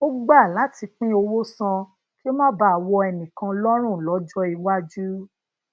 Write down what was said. ó gba lati pin owo san kí o ma baa wo enikan lorun lojo iwaju